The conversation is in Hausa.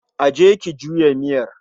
je ki juya miyar.